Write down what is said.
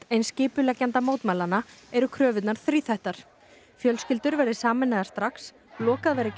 eins skipuleggjenda mótmælanna eru kröfurnar þríþættar fjölskyldur verði sameinaðar strax lokað verði